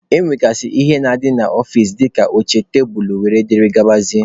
Ọ nwegasịrị ihe na-adị n'ọfịcị dịka oche, tebulu wdg.